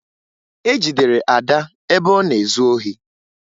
E jidere Ada ebe ọ na-ezu ohi